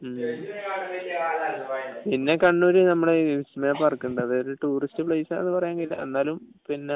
പിന്നെ കണ്ണൂര് നമ്മളെ വിസ്മയ പാർക്ക് ഉണ്ട് അതൊരു ടൂറിസ്റ്റു പ്ലെയ്സ് ആണെന്ന് പറയാൻ കഴിയില്ല എന്നാലും